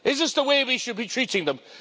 Is this the way we should be treating them?